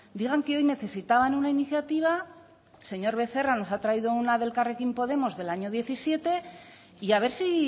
digan que hoy necesitaban una iniciativa señor becerra nos ha traído una de elkarrekin podemos del año diecisiete y a ver si